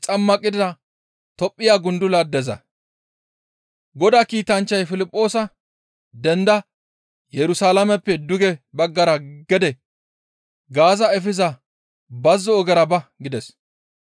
Godaa kiitanchchay Piliphoosa «Denda! Yerusalaameppe duge baggara gede Gaaza efiza bazzo ogera ba» gides.